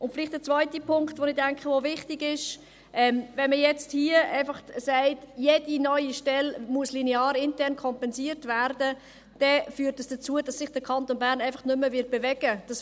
Ein zweiter Punkt, der, denke ich, wichtig ist: Wenn man hier einfach sagt, jede neue Stelle müsse linear intern kompensiert werden, führt dies dazu, dass sich der Kanton Bern einfach nicht mehr bewegen wird.